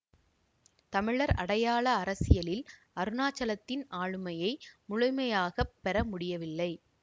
தமிழர் அடையாள அரசியலில் அருணாசலத்தின் ஆளுமையை முழுமையாக பெற முடியவில்லை